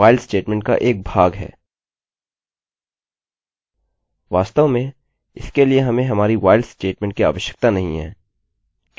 वास्तव में इसके लिए हमें हमारी while स्टेटमेंटstatement की आवश्यकता नहीं है किन्तु फिर भी मैं इसकी खातिर इसको रखूँगा